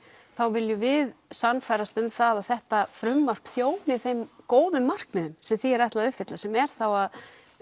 viljum við sannfærast um það að þetta frumvarp þjóni þeim góðu markmiðum sem því er ætlað að uppfylla sem er þá að